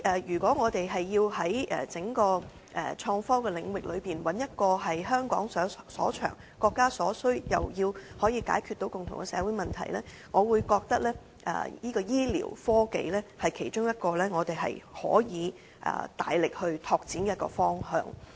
如果我們要在整個創科領域發展一個香港所長、國家所需的範疇，亦要解決到共同的社會問題，我認為醫療科技是其中一個我們可以大力擴展的方向。